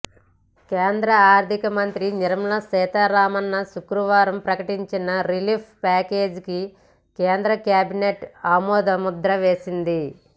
కేంద్ర ఆర్థిక మంత్రి నిర్మలా సీతారామన్ శుక్రవారం ప్రకటించిన రిలీఫ్ ప్యాకేజీకి కేంద్ర క్యాబినెట్ ఆమోదముద్ర వేసింది